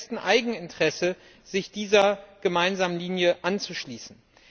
Es ist im besten Eigeninteresse, sich dieser gemeinsamen Linie anzuschließen.